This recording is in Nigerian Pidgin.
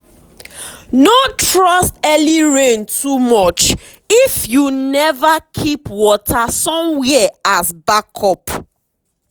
we get gutter for where we keep animal so rain no go carry water enter their feeding um place.